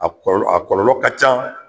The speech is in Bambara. A a kɔlɔlɔ a kɔlɔlɔ ka ca